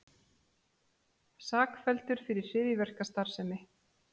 Sakfelldur fyrir hryðjuverkastarfsemi